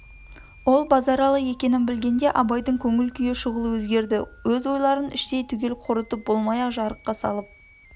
ол базаралы екенін білгенде абайдың көңіл-күйі шұғыл өзгерді өз ойларын іштей түгел қорытып болмай-ақ жарыққа салып